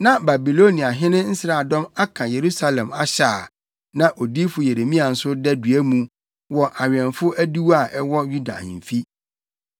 Na Babiloniahene nsraadɔm aka Yerusalem ahyɛ a na odiyifo Yeremia nso da dua mu wɔ awɛmfo adiwo a ɛwɔ Yuda ahemfi.